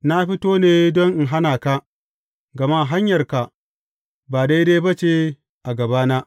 Na fito ne don in hana ka, gama hanyarka ba daidai ba ce a gabana.